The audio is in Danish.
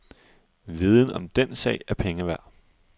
Viden om den sag er penge værd.